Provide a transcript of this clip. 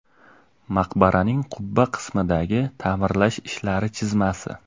Maqbaraning qubba qismidagi ta’mirlash ishlari chizmasi.